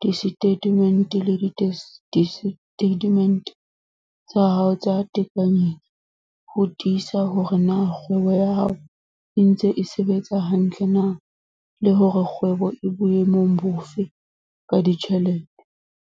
disetatemente le disetatemente tsa hao tsa tekanyetso ho tiisa hore na kgwebo ya hao e ntse e sebetsa hantle na, le hore na kgwebo e boemong bofe ka ditjhelete.